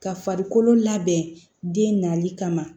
Ka farikolo labɛn den nali kama